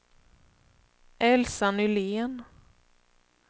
Elsa Nylén